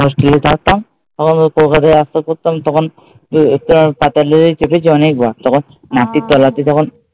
আমি যখন হোস্টেলে থাকতাম তখন কলকাতায় আসতে হতো তখন পাতাল রেলে চড়েছি অনেকবার। মাটির তলা দিয়ে তখন